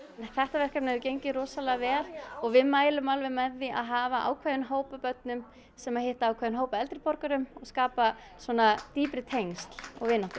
þetta verkefni hefur gengið rosalega vel og við mælum alveg með því að hafa ákveðinn hóp af börnum sem hitta ákveðinn hóp af eldri borgurum og skapa svona dýpri tengsl og vináttu